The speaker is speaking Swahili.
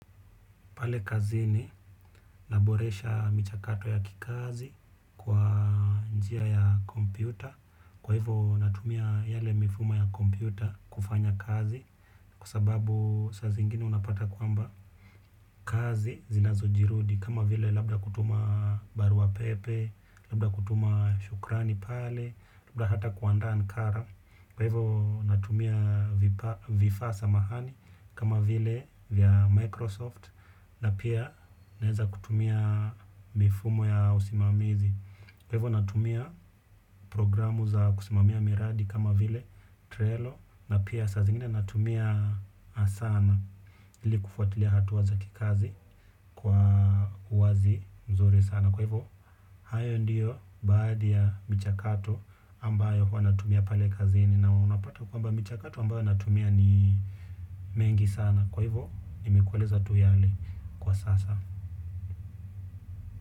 Pale kazini naboresha michakato ya kikazi kwa njia ya kompyuta. Kwa hivyo natumia yale mifumo ya kompyuta kufanya kazi. Kwa sababu saa zingine unapata kwamba kazi zinazojirudi. Kama vile labda kutuma barua pepe, labda kutuma shukrani pale labda hata kuandaa nakara kwa hivyo natumia vifaa samahani kama vile vya Microsoft. Na pia naweza kutumia mifumo ya usimamizi kwa hivyo natumia programu za kusimamia miradi kama vile trelo na pia saa zingine natumia sana. Ili kufuatilia hatua za kikazi kwa uwazi mzuri sana kwa hivyo, hayo ndiyo baadhi ya michakato ambayo huwa natumia pale kazini. Na unapata kwamba michakato ambayo natumia ni mingi sana. Kwa hivyo, nimekueleza tu yale kwa sasa.